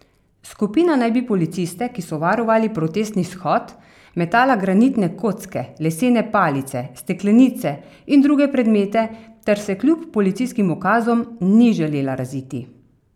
Skupina naj bi na policiste, ki so varovali protestni shod, metala granitne kocke, lesene palice, steklenice in druge predmete ter se kljub policijskim ukazom ni želela raziti.